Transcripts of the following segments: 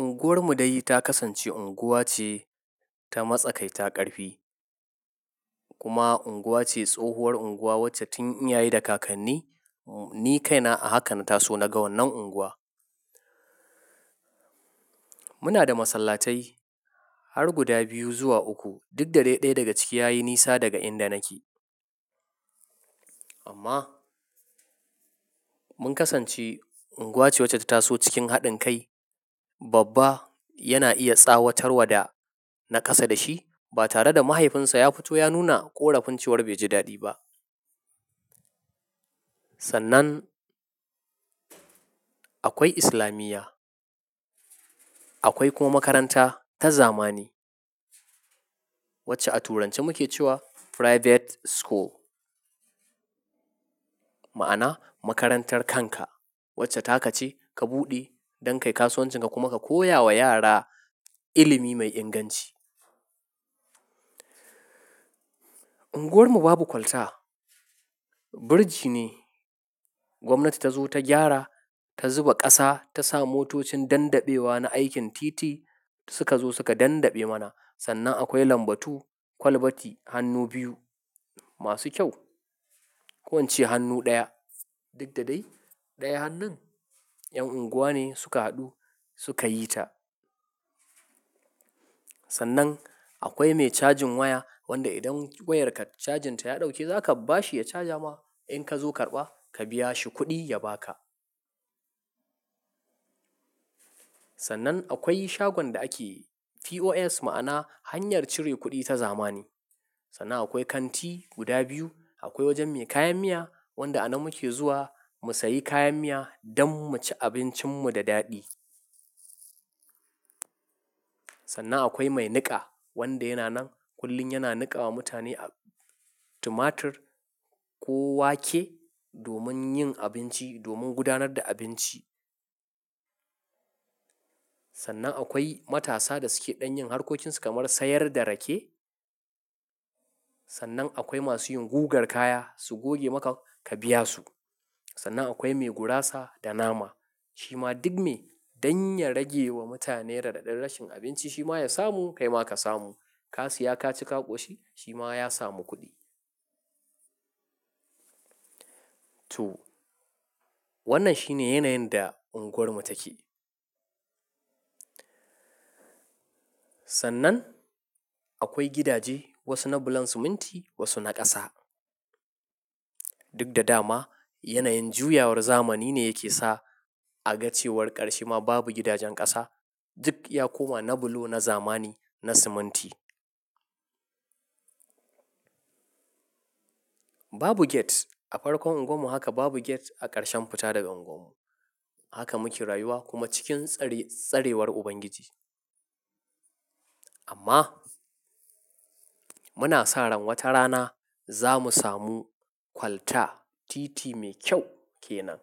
Unguwar mu dai ta kasance unguwa ce ta matsakai ta ƙarfi. Kuma unguwa ce tsohuwar unguwa wacce tun iyaye da kakanni ni kaina a haka na taso naga wan nan unguwa. Muna da masallatai har guda biyu zuwa uku. Duk da dai ɗaya daga ciki yayi nisa daga inda nake. Amma mun kasance unguwa ce wacce ta taso cikin haɗin kai. Babba yana iya tsawatarwa da na ƙasa da shi ba tare da mahaifinsa ya fito ya nuna ƙorafin cewar bai ji daɗi ba. Sannan akwai islamiyya. Akwai kuma makaranta ta zamani wacce a turanci muke cewa private school. Ma'ana makarantar kanka wacce ta ka ce ka buɗe don ka yi kasuwancin ka kuma ka koya wa yara ilimi mai inganci. Unguwar mu babu kwalta. Birji ne gwamnati ta zo ta gyara, ta zuba ƙasa, ta sa motocin dandaɓe wa na aikin titi suka zo suka dandaɓe mana. Sannan akwai lambatu kwalbati hannu biyu masu kyau. Ko ince hannu ɗaya. Duk da dai ɗaya hannun 'yan unguwa ne suka haɗu suka yi ta. Sannan akwai mai cajin waya wanda idan wayarka cajin ta ya ɗauke zaka bashi ya caja ma. In ka zo karɓa ka biya shi kuɗi ya ba ka. Sannan akwai shagon da ake POS ma'ana hanyar cire kuɗi ta zamani. Sannan akwai kanti guda biyu. Akwai wajen mai kayan miya wanda a nan muke zuwa mu sayi kayan miya don mu ci abincin mu da daɗi. Sannan akwai mai niƙa wanda yana nan kullum yana niƙawa mutane a tumatir ko wake domin yin abinci, domin gudanar da abinci. Sannan akwai matasa da suke ɗan yin harkocinsu kamar sayar da rake. Sannan akwai masu yin gugar kaya su goge maka ka biya su. Sannan akwai mai gurasa da nama. Shi ma duk me dan ya rage wa mutane raɗaɗan rashin abinci shi ma ya samu kai ma ka samu. Ka siya ka ci ka ƙoshi shi ma ya samu kuɗi. To wannan shine yanayin da unguwar mu take. Sannan akwai gidaje wasu na bulon siminti wasu na ƙasa. Duk da dama yanayin juyawar zamani ne yake sa a ga cewar ƙarshe ma babu gidajen ƙasa. Duk ya koma na bulo na zamani na siminti. Babu gate a farkon unguwar mu haka babu gate a ƙarshen fita daga unguwar mu. Haka muke rayuwa kuma cikin tsarewar Ubangiji. Amma muna sa ran wata rana za mu samu kwalta titi mai kyau ke nan.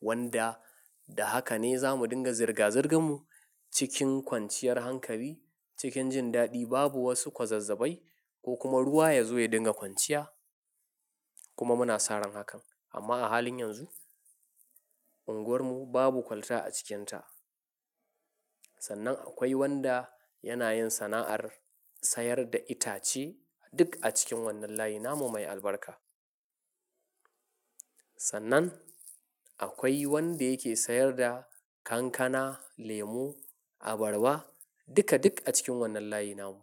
Wanda da haka ne za mu dinga zirga-zirgan mu cikin kwanciyar hankali cikin jin daɗi babu wasu kwazazzabai ko kuma ruwa ya zo ya dinga kwanciya kuma muna sa ran hakan. Amma a halin yanzu unguwar mu babu kwalta a cikinta. Sannan akwai wanda yana yin sana'ar sayar da itace duk a cikin wannan layin namu mai albarka. Sannan akwai wanda yake sayar da kankana, lemu, abarba duka duk a cikin wannan layin namun.